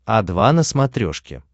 о два на смотрешке